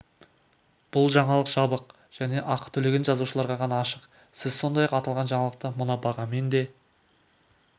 бұл жаңалық жабық және ақы төлеген жазылушыларға ғана ашық сіз сондай-ақ аталған жаңалықты мына бағамен де